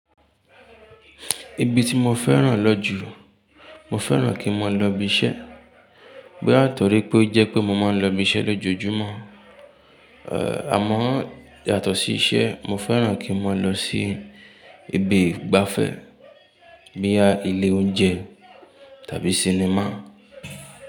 Ibi ti mo fẹ́ràn lọ́ jù, mo fẹ́ràn kí n máa lọ ibi iṣẹ́. Bóyá nítorí pé ó jẹ́ pé mo máa ń lọ ibi iṣẹ́ lójoojúmọ́, àmọ́ yàtọ̀ sí iṣẹ́, mo fẹ́ràn kí n máa lọ sí ibi ìgbafẹ́ bóyá ilé oúnjẹ tàbí sinimá.